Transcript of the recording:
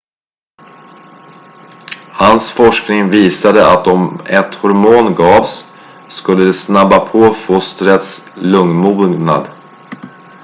hans forskning visade att om ett hormon gavs skulle det snabba på fostrets lungmognad